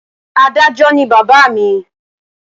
Adájó ni bàbá à mi